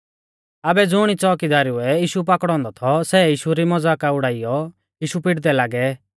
आबै ज़ुणी च़ोकीदारुऐ यीशु पाकड़ौ औन्दौ थौ सै यीशु री मज़ाका उड़ाइयौ यीशु पिटदै लागै